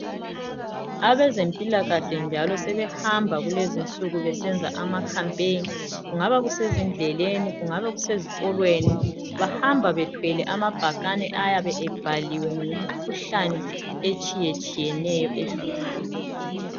Abezempilakahle njalo sebehamba kulezinsuku besenza amacampaign kungaba kusezindleleni, kungabe kusezikolweni, bahamba bethwele amabhakani ayabe ebhaliwe ngemikhuhlane etshiyetshiyeneyo ehluphayo.